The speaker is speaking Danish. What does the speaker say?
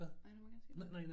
Nej du må gerne sige noget